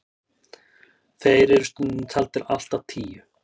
þeir eru stundum taldir allt að tíu